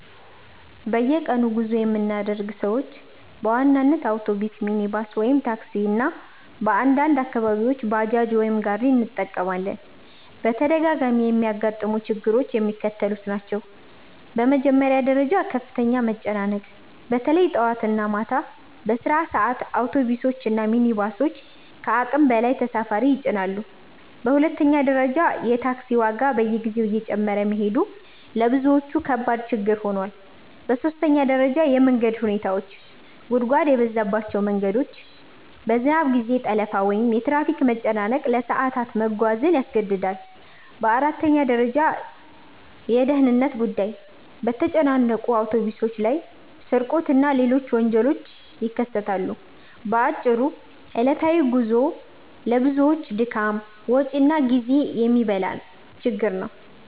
በየቀኑ ጉዞ የምናደርግ ሰዎች በዋናነት አውቶቡስ፣ ሚኒባስ (ታክሲ) እና በአንዳንድ አካባቢዎች ባጃጅ ወይም ጋሪ እንጠቀማለን። በተደጋጋሚ የሚያጋጥሙ ችግሮች የሚከተሉት ናቸው፦ በመጀመሪያ ደረጃ ከፍተኛ መጨናነቅ – በተለይ ጠዋት እና ማታ በስራ ሰዓት አውቶቡሶች እና ሚኒባሶች ከአቅም በላይ ተሳፋሪ ይጭናሉ። በሁለተኛ ደረጃ የታክሲ ዋጋ በየጊዜው እየጨመረ መሄዱ ለብዙዎች ከባድ ችግር ሆኗል። በሦስተኛ ደረጃ የመንገድ ሁኔታዎች – ጉድጓድ የበዛባቸው መንገዶች፣ የዝናብ ጊዜ ጠለፋ ወይም የትራፊክ መጨናነቅ ለሰዓታት መጓዝን ያስገድዳል። በአራተኛ ደረጃ የደህንነት ጉዳይ – በተጨናነቁ አውቶቡሶች ላይ ስርቆት እና ሌሎች ወንጀሎች ይከሰታሉ። በአጭሩ ዕለታዊ ጉዞው ለብዙዎች ድካም፣ ወጪ እና ጊዜ የሚበላ ችግር ነው።